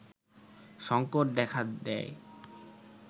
সংকট দেখা দেয়